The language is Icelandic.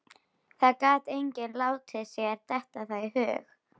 Það gat enginn látið sér detta það í hug.